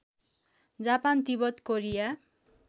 Japan Tibet Korea